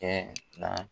Kɛ na